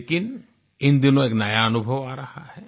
लेकिन इन दिनों एक नया अनुभव आ रहा है